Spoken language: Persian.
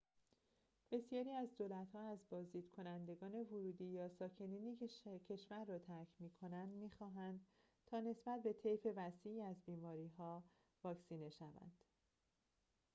بسیاری از دولت‌ها از بازدیدکنندگان ورودی یا ساکنینی که کشور را ترک می‌کنند می‌خواهند تا نسبت به طیف وسیعی از بیماری‌ها واکسینه شوند